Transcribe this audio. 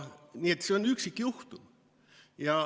Nii et see on üksikjuhtum.